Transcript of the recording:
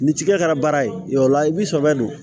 Ni tigɛ kɛra baara ye yɔrɔ la i b'i sɛbɛ don